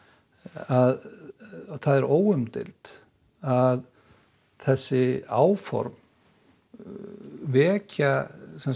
að það er óumdeilt að þessi áform vekja